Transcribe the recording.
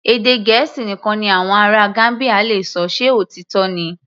Èdè Gẹ̀ẹ́sì nìkan ni àwọn ará Gambia le ṣọ, ṣe òtítọ́ ni?